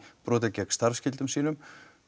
brotið gegn starfsskyldu sinni